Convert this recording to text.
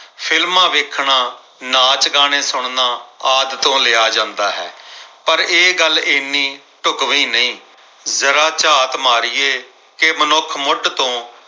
films ਵੇਖਣਾ ਨਾਚ ਗਾਣੇ ਸੁਣਨਾ ਆਦਿ ਤੋਂ ਲਿਆ ਜਾਂਦਾ ਹੈ। ਪਰ ਇਹ ਗੱਲ ਇਹਨੀਂ ਢੁਕਵੀਂ ਨਹੀਂ ਜਰਾ ਝਾਤ ਮਾਰੀਏ ਕਿ ਮਨੁੱਖ ਮੁੱਢ ਤੋਂ